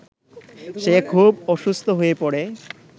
সে খুব অসুস্থ হয়ে পড়ে